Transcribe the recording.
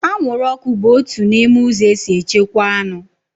Anwụrụọkụ bụ otu n'ime ụzọ esi echekwaa anụ